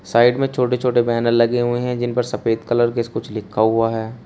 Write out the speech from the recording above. Side में छोटे छोटे बैनर लगे हुए हैं जिन पर सफेद कलर के से कुछ लिखा हुआ है।